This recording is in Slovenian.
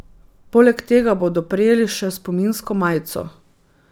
Poleg tega bodo prejeli še spominsko majico.